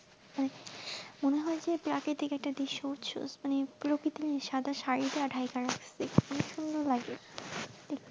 মনে যে একটা দৃশ্য বুঝছস, মানে প্রকৃতি সাদা শাড়ীতে ঢাকাই রাখসে, খুব সুন্দর লাগে